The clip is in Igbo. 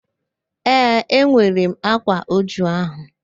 Ee, enwere m ákwá újú ahụ